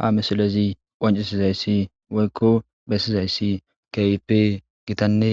Ha misilezi qoncisizayssi woykko bessizayssi kip gitanne